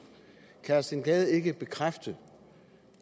kan herre steen gade ikke bekræfte